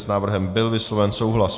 S návrhem byl vysloven souhlas.